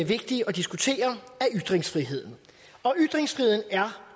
vigtig at diskutere er ytringsfriheden og ytringsfriheden er